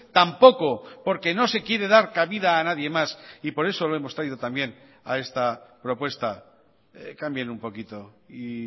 tampoco porque no se quiere dar cabida a nadie más y por eso lo hemos traído también a esta propuesta cambien un poquito y